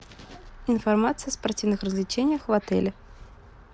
информация о спортивных развлечениях в отеле